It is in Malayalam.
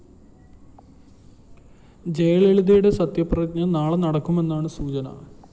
ജയലളിതയുടെ സത്യപ്രതിജ്ഞ നാളെ നടക്കുമെന്നാണ് സൂചന